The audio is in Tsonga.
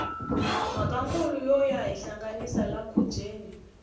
mhaka nkula yo yo hinhlanganisa la khubyeni